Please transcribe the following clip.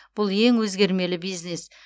бұл ең өзгермелі бизнес